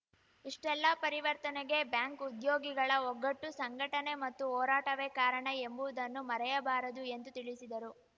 ಇಷ್ಟೆಲ್ಲಾ ಪರಿವರ್ತನೆಗೆ ಬ್ಯಾಂಕ್‌ ಉದ್ಯೋಗಿಗಳ ಒಗ್ಗಟ್ಟು ಸಂಘಟನೆ ಮತ್ತು ಹೋರಾಟವೇ ಕಾರಣ ಎಂಬುದನ್ನು ಮರೆಯಬಾರದು ಎಂದು ತಿಳಿಸಿದರು